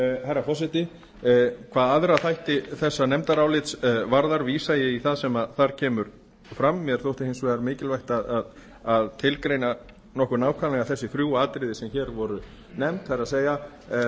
herra forseti hvað aðra þætti þessa nefndarálits varðar vísa ég í það sem þar kemur fram mér þótti hins vegar mikilvægt að tilgreina nokkuð nákvæmlega þessi þrjú atriði sem hér voru nefnd það er